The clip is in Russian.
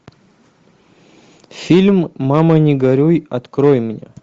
фильм мама не горюй открой мне